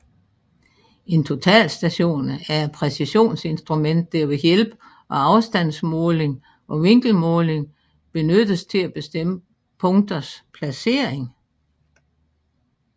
En totalstation er et præcisionsinstrument der ved hjælp af afstandsmåling og vinkelmåling benyttes til at bestemme punkters placering